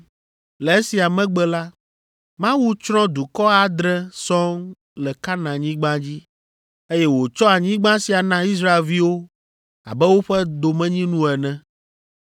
Le esia megbe la, Mawu tsrɔ̃ dukɔ adre sɔŋ le Kananyigba dzi, eye wòtsɔ anyigba sia na Israelviwo abe woƒe domenyinu ene.